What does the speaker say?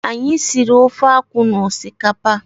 Anyị siri ofe akwụ na osikapa.